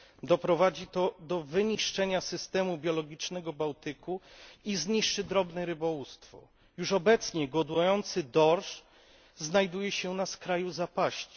Doprowadzi to do wyniszczenia systemu biologicznego Bałtyku i zniszczy drobne rybołówstwo. Już obecnie godujący dorsz znajduje się na skraju zapaści.